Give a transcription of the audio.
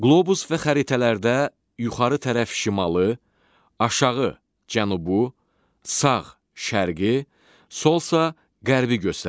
Qlobus və xəritələrdə yuxarı tərəf şimalı, aşağı cənubu, sağ şərqi, solsa qərbi göstərir.